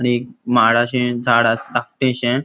आणि एक माडाचे झाड आस धाकटेशे --